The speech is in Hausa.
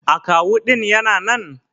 Akawu ɗin Yana nan?